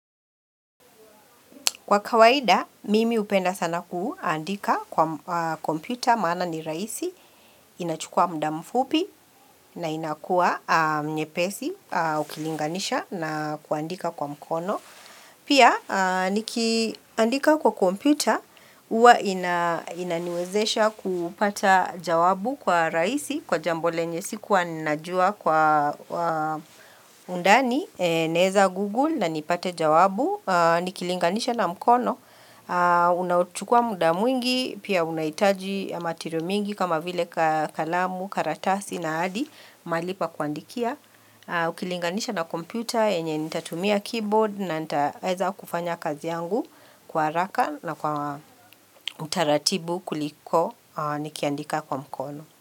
Kwa kawaida, mimi hupenda sana kuandika kwa kompyuta, maana ni rahisi, inachukua muda mfupi na inakua nyepesi, ukilinganisha na kuandika kwa mkono. Pia, nikiandika kwa kompyuta, huwa inaniwezesha kupata jawabu kwa rahisi, kwa jambo lenye sikuwa ninajua kwa undani, naeza Google na nipate jawabu, nikilinganisha na mkono. Unaochukua muda mwingi, pia unahitaji ya material mwingi kama vile kalamu, karatasi na hadi, mahali pa kuandikia. Ukilinganisha na kompyuta yenye nitatumia keyboard na nitaweza kufanya kazi yangu kwa haraka na kwa utaratibu kuliko nikiandika kwa mkono.